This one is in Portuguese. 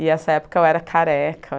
E, essa época, eu era careca.